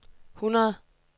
hundrede